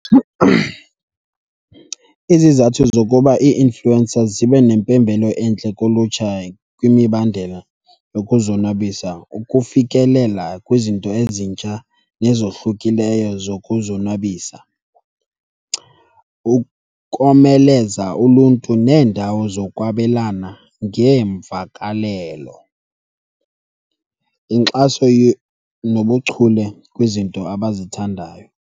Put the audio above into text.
Izizathu zokuba ii-influencers zibe nempembelo entle kulutsha kwimibandela yokuzonwabisa, ukufikelela kwizinto ezintsha nezohlukileyo zokuzonwabisa, ukomeleza uluntu neendawo zokwabelana ngeemvakalelo, inkxaso nobuchule kwizinto abazithandayo.